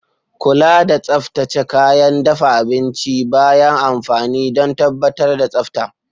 Kula da tsaftace kayan dafa abinci bayan amfani don tabbatar da tsafta.